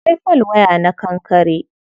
Akwai folwaya na kankare.